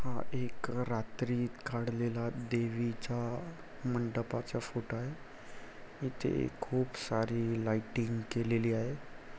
हा एक रात्री काढलेला देवीचा मंडपाचा फोटो आहे इथे खूप सारी लाईटिंग केलेली आहे.